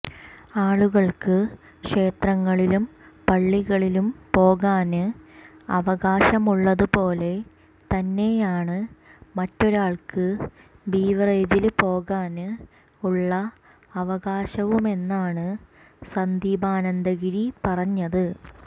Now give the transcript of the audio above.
ആളുകള്ക്ക് ക്ഷേത്രങ്ങളിലും പള്ളികളിലും പോകാന് അവകാശമുള്ളതു പോലെ തന്നെയാണ് മറ്റൊരാള്ക്ക് ബിവറേജില് പോകാന് ഉള്ള അവകാശവുമെന്നാണ് സന്ദീപാനന്ദഗിരി പറഞ്ഞത്